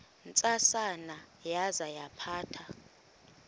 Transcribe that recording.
ntsasana yaza yaphatha